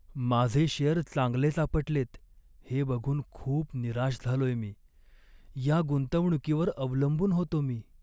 माझे शेअर चांगलेच आपटलेत हे बघून खूप निराश झालोय मी. या गुंतवणुकीवर अवलंबून होतो मी.